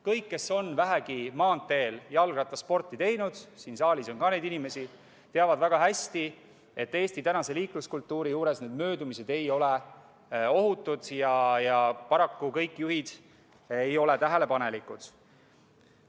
Kõik, kes on vähegi maanteel jalgrattasporti teinud – siin saalis on ka neid inimesi –, teavad väga hästi, et Eesti tänast liikluskultuuri arvestades ei ole need möödumised ohutud ja paraku kõik juhid ei ole tähelepanelikud.